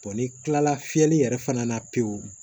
n'i tilala fiyɛli yɛrɛ fana na pewu